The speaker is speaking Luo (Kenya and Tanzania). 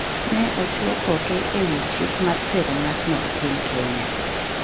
ne ochwo koke e wi chik mar tero ng’atno e piny Kenya.